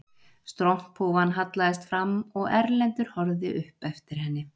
Stromphúfan hallaðist fram og Erlendur horfði upp eftir henni